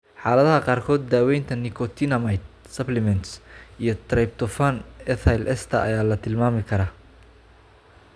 Xaaladaha qaarkood, daaweynta nicotinamide supplements iyo tryptophan ethyl ester ayaa la tilmaami karaa.